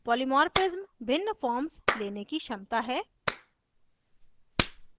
polymorphism भिन्न forms लेने की क्षमता है